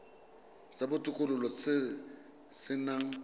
sa botokololo se se nang